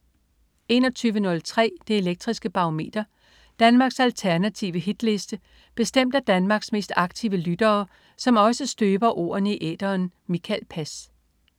21.03 Det Elektriske Barometer. Danmarks alternative hitliste bestemt af Danmarks mest aktive lyttere, som også støber ordene i æteren. Mikael Pass